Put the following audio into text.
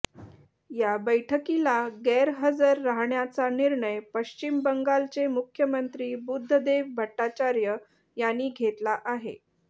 या बैठकीला गैरहजर राहण्याचा निर्णय पश्चिम बंगालचे मुख्यमंत्री बुद्धदेव भट्टाचार्य यांनी घेतला आहे